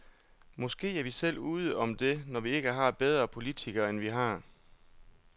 Måske er vi selv ude om det, når vi ikke har bedre politikere, end vi har.